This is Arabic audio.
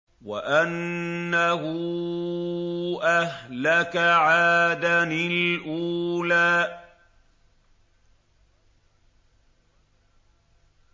وَأَنَّهُ أَهْلَكَ عَادًا الْأُولَىٰ